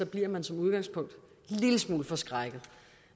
bliver man som udgangspunkt en lille smule forskrækket